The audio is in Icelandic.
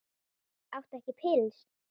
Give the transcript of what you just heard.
Áttu ekkert pils?